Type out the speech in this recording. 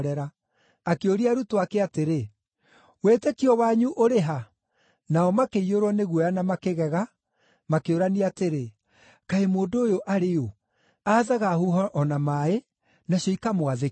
Akĩũria arutwo ake atĩrĩ, “Wĩtĩkio wanyu ũrĩ ha?” Nao makĩiyũrwo nĩ guoya na makĩgega, makĩũrania atĩrĩ, “Kaĩ mũndũ ũyũ arĩ ũ? Aathaga huho o na maaĩ, nacio ikamwathĩkĩra.”